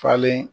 Falen